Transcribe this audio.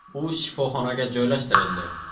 U shifoxonaga joylashtirildi.